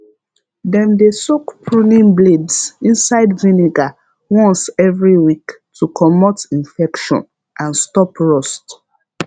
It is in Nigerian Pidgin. dem dey soak pruning blades inside vinegar once every week to comote infection and stop rust